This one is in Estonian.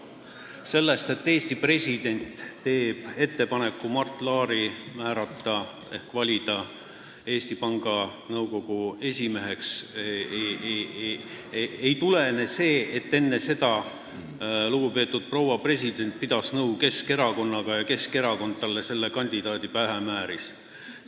See, et Eesti president teeb ettepaneku määrata ehk valida Mart Laar Eesti Panga Nõukogu esimeheks, ei tähenda seda, et enne seda pidas lugupeetud proua president nõu Keskerakonnaga ja Keskerakond talle selle kandidaadi pähe määris.